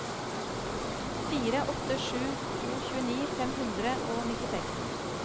fire åtte sju to tjueni fem hundre og nittiseks